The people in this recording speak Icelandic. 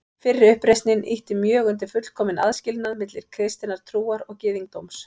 Fyrri uppreisnin ýtti mjög undir fullkominn aðskilnað milli kristinnar trúar og gyðingdóms.